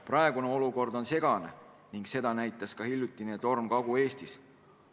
Praegune olukord on segane ning seda näitas ka hiljutine torm Kagu-Eestis.